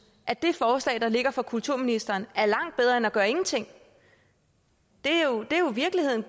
at det forslag der ligger fra kulturministeren er langt bedre end at gøre ingenting det er jo virkeligheden